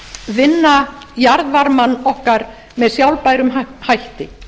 vinna jarðvarmann okkar með sjálfbærum hætti